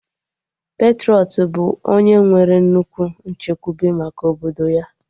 Patrọịt bụ onye nwere nnukwu nchekwube maka obodo ya